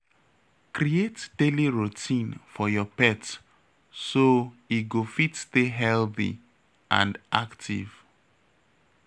Create daily routine for your pet, so e go fit stay healthy and active.